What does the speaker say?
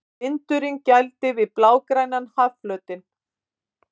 Vindurinn gældi við blágrænan hafflötinn.